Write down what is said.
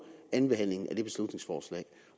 andenbehandlingen af det beslutningsforslag